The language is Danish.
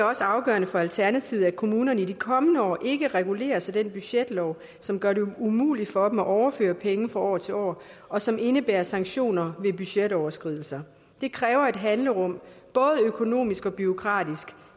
også afgørende for alternativet at kommunerne i de kommende år ikke reguleres af den budgetlov som gør det umuligt for dem at overføre penge fra år til år og som indebærer sanktioner ved budgetoverskridelser det kræver et handlerum både økonomisk og bureaukratisk